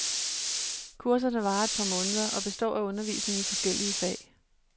Kurserne varer et par måneder og består af undervisning i forskellige fag.